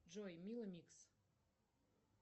джой мила микс